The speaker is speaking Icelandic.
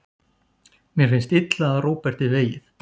Mér finnst illa að Róberti vegið.